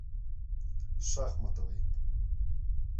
шахматовой